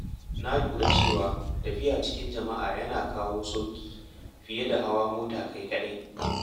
Na lura cewa tafiya cikin jama’a yana kawo sauƙi fiye da hawan mota kai kaɗai.